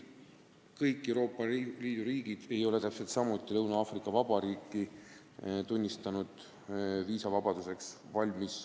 Kõik Euroopa Liidu riigid ei ole tunnistanud, et Lõuna-Aafrika Vabariik on viisavabaduseks valmis.